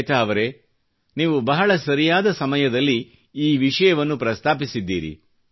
ಶ್ವೇತಾ ಅವರೆ ನೀವು ಬಹಳ ಸರಿಯಾದ ಸಮಯದಲ್ಲಿ ಈ ವಿಷಯವನ್ನು ಪ್ರಸ್ತಾಪಿಸಿದ್ದೀರಿ